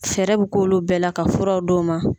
Fɛɛrɛ bɛ k'ulu bɛɛ la ka furaw d'u ma.